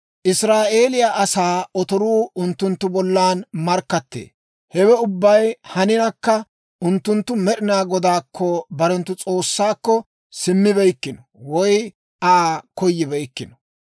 Israa'eeliyaa asaa otoruu unttunttu bollan markkattee. Hewe ubbay haninakka unttunttu Med'inaa Godaakko, barenttu S'oossaakko, simmibeykkino woy Aa koyibeykkino.